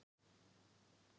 Bankarán breyttist í gíslatöku